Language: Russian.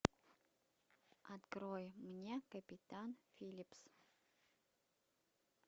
открой мне капитан филлипс